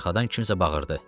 Arxadan kimsə bağırdı.